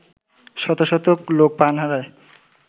শত শত লোক প্রাণ হারায়